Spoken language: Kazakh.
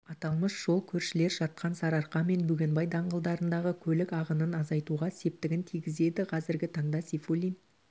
аталмыш жол көршілес жатқан сарыарқа мен бөгенбай даңғылдарындағы көлік ағынын азайтуға септігін тигізеді қазіргі таңда сейфуллин